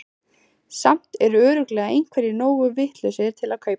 Samt eru örugglega einhverjir nógu vitlausir til að kaupa þær.